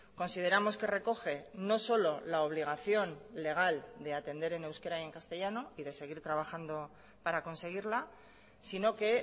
consideramos que recoge no solo la obligación legal de atender en euskera y en castellano y de seguir trabajando para conseguirla sino que